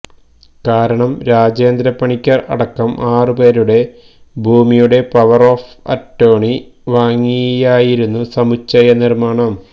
കാരണം രാജേന്ദ്ര പണിക്കർ അടക്കം ആറുപേരുടെ ഭൂമിയുടെ പവർ ഓഫ് അറ്റോർണി വാങ്ങിയായിരുന്നു സമുച്ചയ നിർമ്മാണം